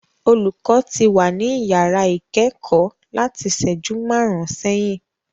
Olùkọ́ ti wà ní yàrá ìkẹ́kọ̀ọ́ láti ìṣẹ́jú márùn-ún sẹ́yìn.